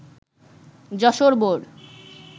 Jessore board